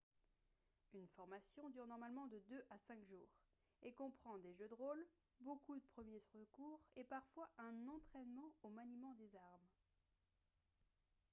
une formation dure normalement de 2 à 5 jours et comprend des jeux de rôle beaucoup de premiers secours et parfois un entraînement au maniement des armes